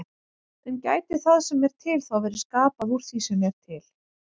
En gæti það sem er til þá verið skapað úr því sem er til?